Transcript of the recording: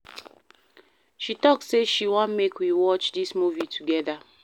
She tok sey she wan make we watch dis movie togeda.